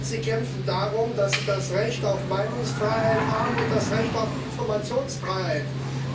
Sie kämpfen darum, dass sie das Recht auf Meinungsfreiheit und das Recht auf Informationsfreiheit haben.